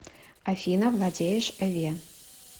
афина владеешь эве